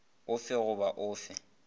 o fe goba o fe